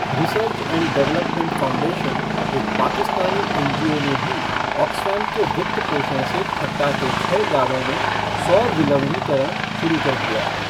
Research and development foundation, एक Pakistani N G O ने भी ऑक्सफ़ैम के वित्त पोषण से थट्टा के छह गाँवों में सौर विलवणीकरण शुरू कर दिया है।